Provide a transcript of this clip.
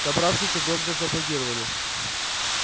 собравшиеся громко зааплодировали